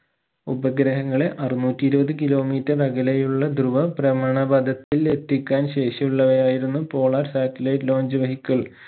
ഉപഗ്രഹങ്ങളെ അറുന്നൂറ്റി ഇരുപത് kilometer അകലെയുള്ള ദ്രുവ ബ്രഹ്മണപഥത്തിൽ എത്തിക്കാൻ ശേഷി ഉള്ളവയിരുന്നു polar satellite launch vehicle